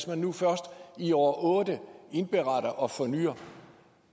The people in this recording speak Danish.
man nu først i år otte indberetter og fornyer